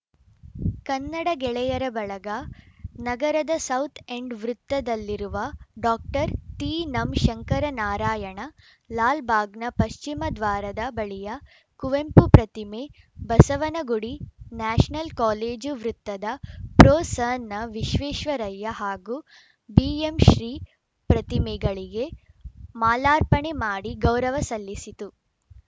ಕನ್ನಡ ಗೆಳೆಯರ ಬಳಗ ನಗರದ ಸೌತ್‌ ಎಂಡ್‌ ವೃತ್ತದಲ್ಲಿರುವ ಡಾಕ್ಟರ್ ತಿನಂಶಂಕರನಾರಾಯಣ ಲಾಲ್‌ಬಾಗ್‌ನ ಪಶ್ಚಿಮ ದ್ವಾರದ ಬಳಿಯ ಕುವೆಂಪು ಪ್ರತಿಮೆ ಬಸವನಗುಡಿ ನ್ಯಾಷನಲ್‌ ಕಾಲೇಜು ವೃತ್ತದ ಪ್ರೊಸನವಿಶ್ವೇಶ್ವರಯ್ಯ ಹಾಗೂ ಬಿಎಂಶ್ರೀಪ್ರತಿಮೆಗಳಿಗೆ ಮಾಲಾರ್ಪಣೆ ಮಾಡಿ ಗೌರವ ಸಲ್ಲಿಸಿತು